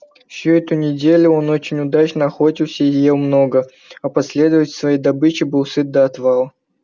всю эту неделю он очень удачно охотился и ел много а последней своей добычей был сыт до отвала